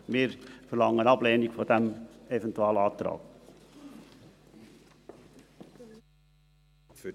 Wir verlangen die Ablehnung des Eventualantrags.